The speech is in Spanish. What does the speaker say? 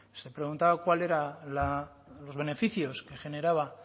se preguntaba cuáles eran los beneficios que generaba